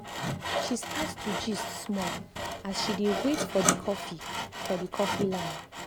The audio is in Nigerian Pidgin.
she start to gist small as she dey wait for the coffee for the coffee line.